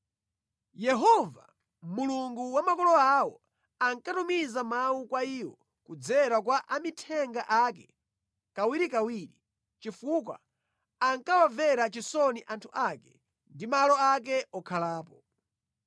Yehova, Mulungu wa makolo awo, ankatumiza mawu kwa iwo kudzera kwa amithenga ake kawirikawiri, chifukwa ankawamvera chisoni anthu ake ndi malo ake okhalapo.